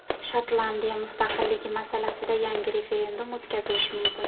Shotlandiya mustaqilligi masalasida yangi referendum o‘tkazilishi mumkin.